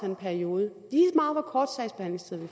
en periode